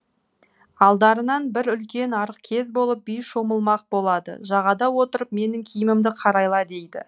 алдарынан бір үлкен арық кез болып би шомылмақ болады жағада отырып менің киімімді қарайла дейді